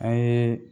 An ye